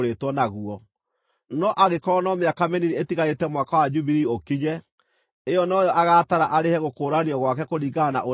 No angĩkorwo no mĩaka mĩnini ĩtigarĩte Mwaka wa Jubilii ũkinye, ĩyo noyo agaatara arĩhe gũkũũranio gwake kũringana na ũrĩa kwagĩrĩire.